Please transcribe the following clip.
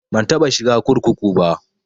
Ban taɓa shiga kurkuku ba